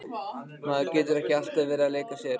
Maður getur ekki alltaf verið að leika sér.